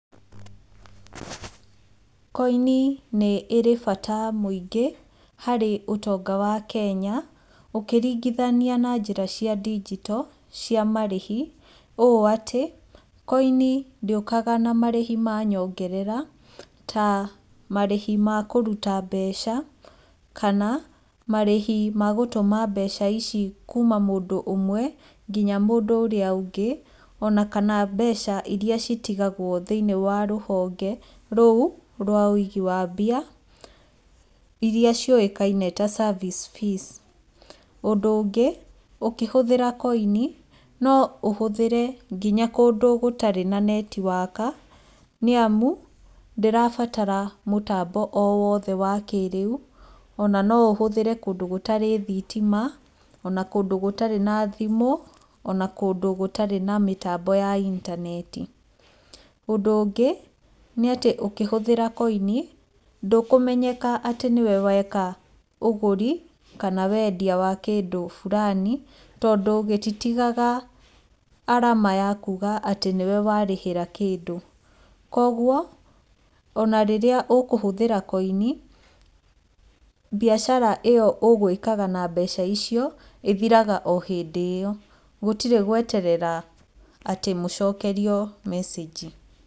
Koini nĩ ĩrĩ na bata mũingĩ harĩ ũtonga wa Kenya, ũkĩringithania na njĩra cia ndigito cia marĩthi, ũũ atĩ, koini ndĩũkaga na marĩhi ma nyongerera, ta marĩhi makũruta mbeca, kana marĩhi magũtũma mbeca ici kuuma mũndũ ũmwe, nginya mũndũ ũrĩa ũngĩ, onakana mbeca iria citigagwo thĩinĩ wa rũhonge rũu rwa wĩigi wa mbia, iria ciũĩkaine ta service fees, ũndũ ũngĩ ũkĩhũthĩra koini no ũhũthĩre nginya kũndũ gũtarĩ na netiwaka, nĩamu ndirabatara mũtambo o wothe wa kĩrĩu, ona no ũhũthĩre kũndũ gũtarĩ thitima, ona kũndũ gũtarĩ na thimũ, ona kũndũ gũtarĩ na mĩtambo ya intaneti, ũndũ ũngĩ, nĩatĩ ũkĩhũthĩra koini, ndũkũmenyeka atĩ nĩwe weka ũgũri, kana wendia wa kĩndũ burani, tondũ gĩtitigaga arama yakuga atĩ nĩwe warĩhĩra kĩndũ, koguo ona rĩrĩa ũkũhũthĩra koini, mbiacara ĩyo ũgwĩkaga na mbeca icio, ĩthiraga o hĩndĩ ĩyo, gũtirĩ gweterera atĩ mũcokerio message.